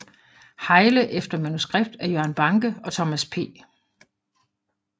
Hejle efter manuskript af Jørgen Banke og Thomas P